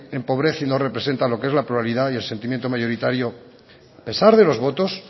empobrece y no representa lo que es la pluralidad y el sentimiento mayoritario a pesar de los votos